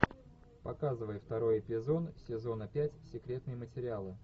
показывай второй эпизод сезона пять секретные материалы